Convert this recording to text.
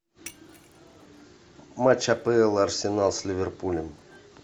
матч апл арсенал с ливерпулем